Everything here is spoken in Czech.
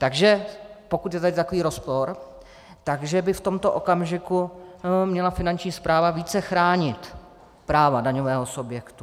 Takže pokud je tady takový rozpor, tak by v tomto okamžiku měla Finanční správa více chránit práva daňového subjektu.